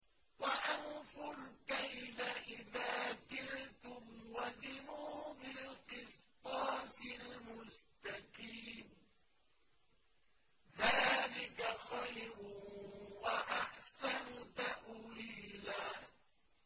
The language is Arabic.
وَأَوْفُوا الْكَيْلَ إِذَا كِلْتُمْ وَزِنُوا بِالْقِسْطَاسِ الْمُسْتَقِيمِ ۚ ذَٰلِكَ خَيْرٌ وَأَحْسَنُ تَأْوِيلًا